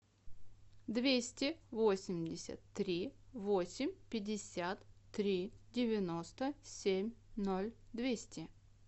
двести восемьдесят три восемь пятьдесят три девяносто семь ноль двести